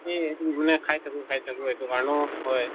খাই থাকো খাই থাকো এইটো কাৰণেও হয়